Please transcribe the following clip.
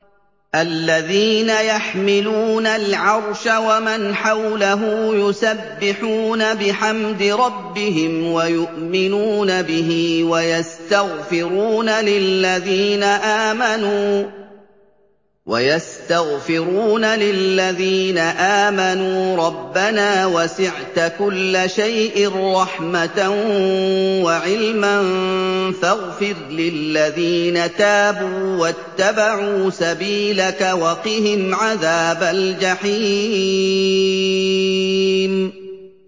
الَّذِينَ يَحْمِلُونَ الْعَرْشَ وَمَنْ حَوْلَهُ يُسَبِّحُونَ بِحَمْدِ رَبِّهِمْ وَيُؤْمِنُونَ بِهِ وَيَسْتَغْفِرُونَ لِلَّذِينَ آمَنُوا رَبَّنَا وَسِعْتَ كُلَّ شَيْءٍ رَّحْمَةً وَعِلْمًا فَاغْفِرْ لِلَّذِينَ تَابُوا وَاتَّبَعُوا سَبِيلَكَ وَقِهِمْ عَذَابَ الْجَحِيمِ